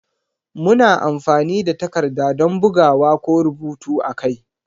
Muna amfani da takarda don bugawa ko rubutu a kai.